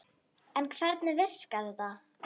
En hvernig virkar þetta?